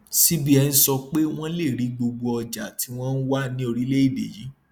cbn sọ pé wọn lè rí gbogbo ọjà tí wọn wà ní orílẹèdè yìí